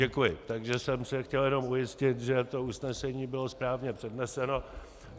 Děkuji, takže jsem se chtěl jen ujistit, že to usnesení bylo správně předneseno.